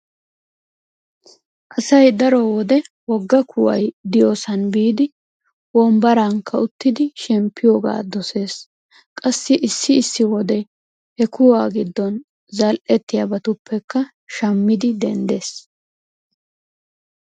Asay daro wode wogga kuway diyoosan biidi wombbaraanikka uttidi shemppiyoogaa dosees. Qassi issi issi wode he kuwa giddon zal"ettiyabatuppekka shammidi denddees.